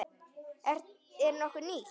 Er nokkuð nýtt?